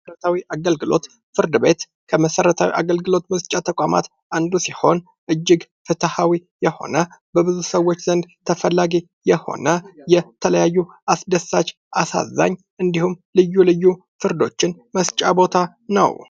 መሠረታዊ ፍርድ ቤት ከመሠረታዊ አገልግሎት መስጫ ተቋማት አንዱ ሲሆን ፤እጅግ ፍትሃዊ የሆነ በብዙ ሰዎች ዘንድ ተፈላጊ የሆነ፣ የተለያዩ አስደሳች ፣አሳዛኝ እንዲሁም ልዩ ልዩ ፍርዶችን መስጫ ቦታ ነው።